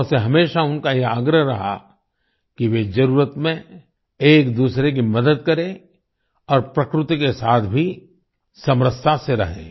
लोगों से हमेशा उनका यह आग्रह रहा कि वे जरुरत में एकदूसरे की मदद करें और प्रकृति के साथ भी समरसता से रहें